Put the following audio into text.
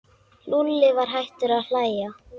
Lúlli var hættur að hlæja.